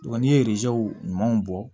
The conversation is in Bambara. Wa n'i ye ɲuman bɔ